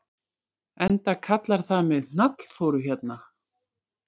Enda kallar það mig Hnallþóru hérna.